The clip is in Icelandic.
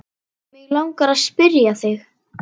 Mig langar að spyrja þig.